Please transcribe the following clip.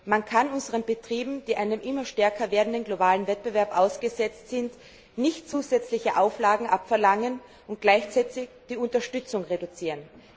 Man kann unseren Betrieben, die einem immer stärker werdenden globalen Wettbewerb ausgesetzt sind, nicht zusätzliche Auflagen abverlangen und gleichzeitig die Unterstützung reduzieren.